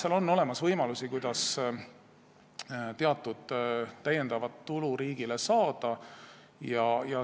Aga ma arvan, et on võimalusi, kuidas teatud lisatulu riigile saada.